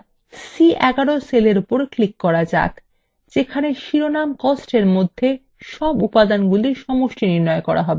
এখন c11 cellএর উপর click করা যাক যেখানে শিরোনাম কস্ট এর মধ্যে মোট উপাদানগুলি সমষ্টি নির্ণয় করা হবে